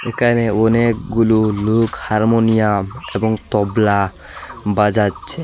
এখানে অনেকগুলো লোক হারমোনিয়াম এবং তবলা বাজাচ্ছে।